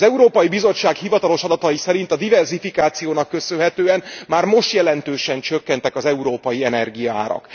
Az Európai Bizottság hivatalos adatai szerint a diverzifikációnak köszönhetően már most jelentősen csökkentek az európai energiaárak.